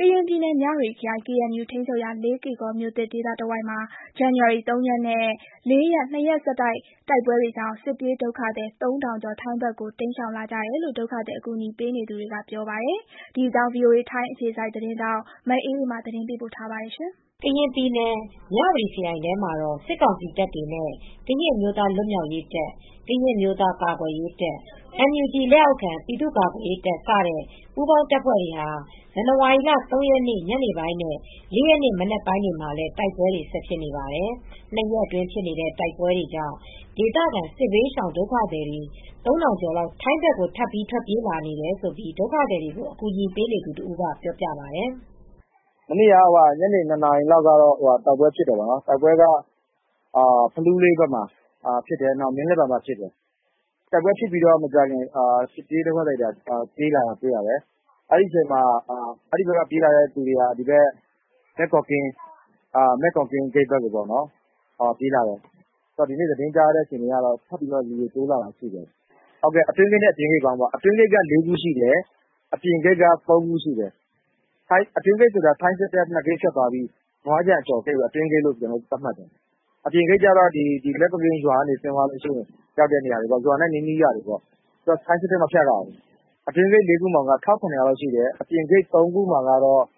ကရင်ပြည်နယ် မြဝတီခရိုင် KNU ထိန်းချုပ်ရာလေးကေ့ကော်မြို့သစ် ဒေသတဝိုက်မှာ ဇန်နဝါရီ ၃ ရက်နဲ့ ၄ ရက် နှစ်ရက်ဆက်တိုက်ဖြစ်တဲ့ တိုက်ပွဲတွေကြောင့် စစ်ပြေးဒုက္ခသည် ၃,၀၀၀ ကျော် ထိုင်းဘက်ကို တိမ်းရှောင်လာကြတယ်လို့ ဒုက္ခသည်အကူအညီပေးနေသူတွေကပြောပါတယ်။ ဒီအကြောင်း VOA ထိုင်းအခြေစိုက် သတင်းထောက် မအေးအေးမာ သတင်းပေးပို့ထားပါတယ်။ ကရင်ပြည်နယ် မြဝတီခရိုင်ထဲမှာ စစ်ကောင်စီတပ်တွေနဲ့ ကရင်အမျိုးသားလွတ်မြောက်ရေးတပ်၊ ကရင် အမျိုးသားကာကွယ်ရေးတပ်၊ NUG လက်အောက်ခံ ပြည်သူ့ကာကွယ်ရေးတပ်-စတဲ့ပူးပေါင်းတပ်ဖွဲ့တွေဟာ ဇန်နဝါရီလ ၃ ရက်နေ့ညနေပိုင်းနဲ့ ၄ ရက်နေ့မနက်ပိုင်းတွေမှာလည်း တိုက်ပွဲတွေဆက်ဖြစ်နေပါတယ်။ ၂ ရက်အတွင်းဖြစ်နေတဲ့တိုက်ပွဲတွေကြောင့် ဒေသခံ စစ်ဘေးရှောင်ဒုက္ခသည်တွေ ၃,၀၀၀ ကျော် ထိုင်းဘက်ကို ထပ်ပြီး ထွက်ပြေးလာတယ်လို့ ဒုက္ခသည်တွေကို အကူညီပေးနေသူတဦးက အခုလိုပြောပါတယ်။ “မနေ့က ညနေ ၂ နာရီလောက်မှာ တိုက်ပွဲဖြစ်တယ်။ တိုက်ပွဲက ဖလူးလေးဘက်မှာဖြစ်တယ်။ မင်းလက်ပံ ဆိုတဲ့ နေရာဖြစ်တယ်။ တိုက်ပွဲဖြစ်ပြီးမကြာခင်မှာပဲ ထိုင်းဘက်ကို စစ်ပြေးဒုက္ခသည်တွေ ထွက်ပြေးလာကြတယ်။ ထွက်ပြေးလာကြတဲ့သူတွေက မယ့်ကိုကင်းဂိတ်ဘက်ကို ထွက်ပြေးလာတယ်။ ဒီနေ့ သတင်းကြားရတာက ထပ်ပြီးတိုးလာတာတွေရှိတယ်။ အတွင်းဂိတ်နဲ့အပြင်ဂိတ်ပေါင်းပေါ့။ အတွင်းဂိတ် က ၄ ခုရှိတယ်။ အပြင်ဂိတ်က ၃ ခုရှိတယ်။ အတွင်းဂိတ်ဆိုတာ ထိုင်းစစ်တပ်ဂိတ် ၂ ဂိတ်ဖြတ်ပြီး နွားခြံကို ကျော်ပြီး ရောက်သွားတဲ့ဂိတ်တွေပေါ့။ အပြင်ဂိတ်ဆိုတာကတော့ မယ့်ကိုကင်းကျေးရွာအနီးက ရွာတွေပေါ့။ ထိုင်းစစ်တပ်တွေကိုမဖြတ်ရဘူး။ အတွင်းဂိတ် ၄ ခုမှာက စစ်ရှောင်လူဦးရေ ၁,၇၀၀ ကျော်လောက်ရှိတယ်။ အပြင်ဂိတ်ဘက် ၃ ခုမှာကတော့ စစ်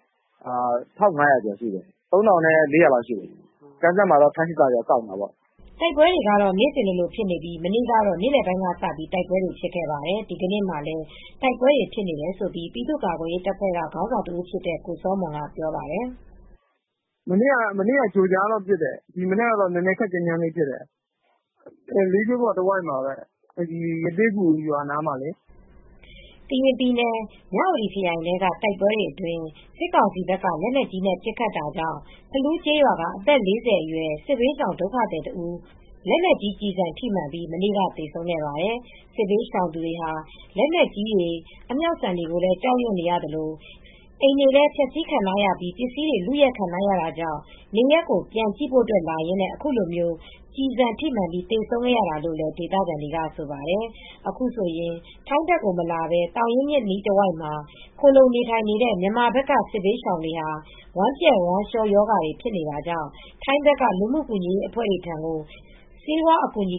ရှောင် ၁,၅၀၀ ကျော်လာက်ရှိတယ်။ ၂ ခုပေါင်း စစ်ရှောင်ဒုက္ခသည် ၃,၄၀၀ ဝန်းကျင်လောက် ရှိတယ်။” တိုက်ပွဲတွေက နေ့စဉ်လိုလိုဖြစ်နေပြီး မနေ့ကတော့ နေလယ်ပိုင်းကစပြီး တိုက်ပွဲတွေဖြစ်ခဲ့ပါတယ်။ ဒီကနေ့မှာလည်း တိုက်ပွဲတွေဖြစ်နေတယ်လို့ ပြည်သူ့ကာကွယ်ရေးတပ်ဖွဲ့ ခေါင်းဆောင်တဦးဖြစ်တဲ့ကိုစောမွန်က ပြောပါတယ်။ “မနေ့က ကြို့ကြားဖြစ်တယ်။ ဒီနေ့မှာတော့ ခပ်ကြမ်းကြမ်းပစ်ခတ်ကြတယ်။ လေးကေ့ကော်တဝိုက်မှာပါပဲ။ ရသေ့ဂူရွာနားမှာလေ။” ကရင်ပြည်နယ် မြဝတီခရိုင်ထဲကတိုက်ပွဲတွေအတွင်း စစ်ကောင်စီဘက်က လက်နက်ကြီးနဲ့ပစ်ခတ်တာကြောင့် ဖလူးကျေးရွာက အသက် ၄၀ အရွယ် စစ်ဘေးရှောင်ဒုက္ခသည် အမျိုးသမီးတဦး လက်နက်ကြီးကျည်ဆံထိမှန်ပြီး မနေ့ကသေဆုံးခဲ့ပါတယ်။ စစ်ဘေးရှောင်သူတွေဟာ လက်နက်ကြီးတွေ၊ အမြောက်ဆံတွေကိုလည်း ကြောက်ရွံ့နေရသလို အိမ်တွေလည်း ဖျက်ဆီးခံထားရပြီး ပစ္စည်းတွေ လုယက်ခံထားရတာကြောင့် နေရပ်ကို ပြန်ကြည့်ဖို့လာရင်းနဲ့ အခုလို ကျည်ဆံထိမှန်ပြီး သေဆုံးခဲ့ရတာလို့ ဒေသခံတွေကဆိုပါတယ်။ အခုဆိုရင် ထိုင်းဘက်ကိုမလာဘဲ သောင်ရင်းမြစ်အနီးတဝိုက်မှာ ခိုလှုံနေထိုင်နေတဲ့ မြန်မာဘက်ခြမ်းက စစ်ရှောင်ဒုက္ခသည်တွေဟာ ဝမ်းပျက်ဝမ်းလျောရောဂါတွေဖြစ်နေတာကြောင့် ထိုင်းဘက်က လူမှုကူညီရေးအဖွဲ့တွေထံကို ဆေးဝါးအကူအညီ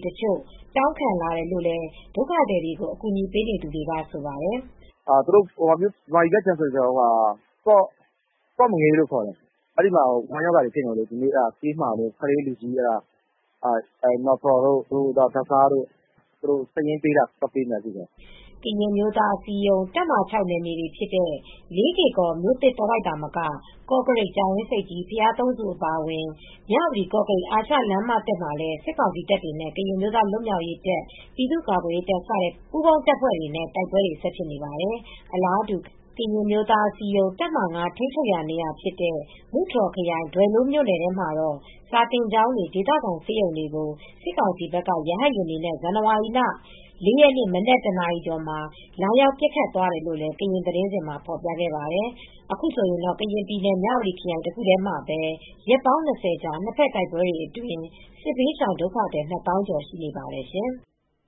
တောင်းခံလာတယ်လို့လည်း ဒုက္ခသည်တွေကို အကူညီပေးနေသူတဦးကပြောပါတယ်။ မြန်မာပြည်ဘက်အခြမ်းမှာပေါ့။ ကော့မငေးလို့ခေါ်တယ်။ အဲဒီဘက်ခြမ်းမှာ ကလေးလူကြီးတွေ ဝမ်းရောဂါတွေ အဖြစ်များနေလို့။ မက်ထရိုတို့၊ ဓါတ်ဆားတို့၊ သူတို့စာရင်းနဲ့မှာလာလို့ အဲဒါတွေသွားပေးဖို့ရှိတယ်။” ကရင်အမျိုးသားအစည်းအရုံး တပ်မဟာ ၆ နယ်မြေတွေဖြစ်တဲ့ လေးကေ့ကော်မြို့သစ်တဝိုက်သာမက ကော့ကရိတ်၊ ကြာအင်းဆိပ်ကြီး၊ ဘုရားသုံးဆူဒေသ အပါအဝင် မြဝတီ-ကော့ကရိတ် အာရှလမ်းမသစ်မှာလည်း စစ်ကောင်စီတပ်တွေနဲ့ ကရင်အမျိုးသားလွတ်မြောက်ရေးတပ်၊ ပြည်သူ့ကာကွယ်ရေးတပ် စတဲ့ပူးပေါင်းတပ်တွေနဲ့တိုက်ပွဲတွေဆက်ဖြစ်နေပါတယ်။ အလားတူ ကရင်အမျိုးသားအစည်းအရုံး တပ်မဟာ ၅ ထိန်းချုပ်ရာ ဖာပွန်ခရိုင် ဒွယ်လိုးမြို့နယ်ထဲမှာ စာသင်ကျောင်းတွေ၊ ဒေသခံဆေးရုံတွေကို စစ်ကောင်စီဘက်က ဇန်နဝါရီလ မနက် ၁နာရီကျော်မှာ ရဟတ်ယာဉ်တွေနဲ့ လာရောက်ပစ်ခတ်သွားတယ်လို့လည်း ကရင်သတင်းစဉ်မှာဖော်ပြခဲ့ပါတယ်။အခုဆိုရင်တော့ ကရင်ပြည်နယ် မြဝတီခရိုင်တခုတည်းမှာပဲ ရက်ပေါင်း၂၀ ကြာ နှစ်ဘက်တိုက်ပွဲတွေအတွင်း စစ်ရှောင် ဒုက္ခသည် ၂၀,၀၀၀ ကျော်ရှိနေပါတယ်ရှင်။